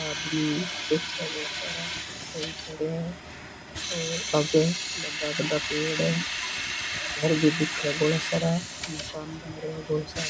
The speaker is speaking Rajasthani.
आदमी बैठिया बहुत सारा और खड़िया है और आगे बड़ा बड़ा पेड़ है घर भी दिखे है बौला सारा मकान बन रिया है बौला सारा।